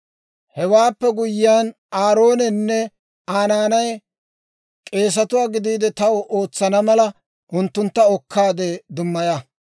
«Hewaappe guyyiyaan Aaroonenne Aa naanay k'eesatuwaa gidiide taw ootsana mala, unttuntta okkaadde dummaya;